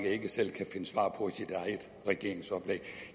ikke selv kan finde svar på i sit eget regeringsoplæg